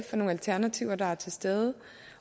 for nogle alternativer der er til stede